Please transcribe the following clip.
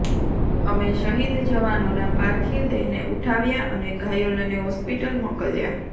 અમે શહીદ જવાનોના પાર્થિવ દેહને ઉઠાવ્યા અને ઘાયલોને હોસ્પિટલ મોકલ્યા